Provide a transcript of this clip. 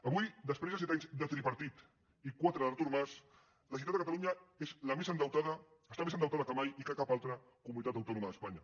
avui després de set anys de tripartit i quatre d’artur mas la generalitat de catalunya està més endeutada que mai i que cap altra comunitat autònoma d’espanya